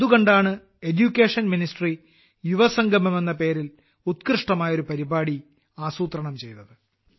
അതു കണ്ടാണ് വിദ്യാഭ്യാസ മന്ത്രാലയം യുവസംഗമം എന്ന പേരിൽ ഉത്കൃഷ്ടമായൊരു പരിപാടി ആസൂത്രണം ചെയ്തത്